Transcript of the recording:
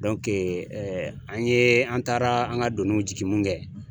an ye an taara an ka doniw jigin min kɛ